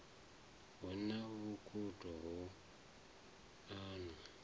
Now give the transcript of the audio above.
hu na vhukhudo ho anwa